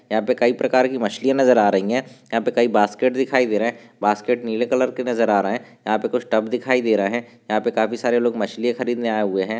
यहा पे कई प्रकार की मछली य नजर आ रही है। यहा पे कई बास्केट दिखाई दे रहे है। बास्केट नीले कलर के नजर आ रहे है यहा पे कुछ टब दिखाई दे रहे है यहा पे काफी सारे लोग मछलिया खरीदने आए हुए है।